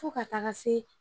Fo ka taga se